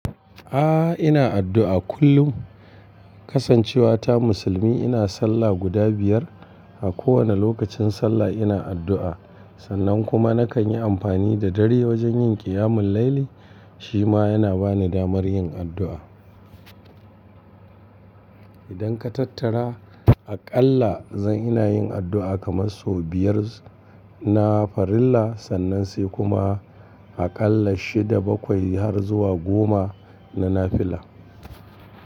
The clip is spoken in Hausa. Aa, ina addu'a kullum. Kasancewa ta musulmi ina sallah guda biyar. A kowane lokacin sallah ina addu'a. Sannan kuma nakan yi amfani da dare wajen yin qiyamul laili, shi ma yana bani damar yin addu'a. Idan ka tattara aƙalla zan ina yin addu'a kamar sau biyar na farilla, sannan sai kuma aƙalla shida bakwai har zuwa goma na nafila.